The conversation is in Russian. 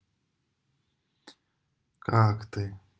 как ты